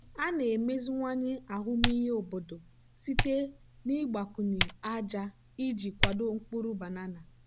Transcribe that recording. a na-emeziwanye ahụmịhe obodo site na ịgbakwụnye aja iji kwado mkpụrụ banana.